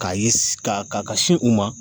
K'a ye s kaa ka ka sin u ma